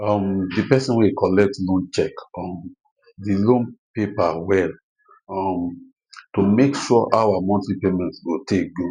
um the person wey collect loan check um the loan paper well um to make sure how her monthly payment go take go